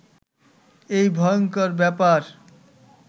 এই ভয়ংকর ব্যাপার